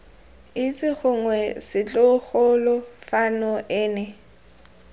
itse gongwe setlogolo fano ene